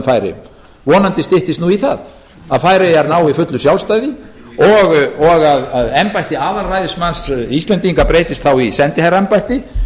færeyjum vonandi styttist nú í það að færeyjar nái fullu sjálfstæði og að embætti aðalræðismanns íslendinga breytist þá í sendiherraembætti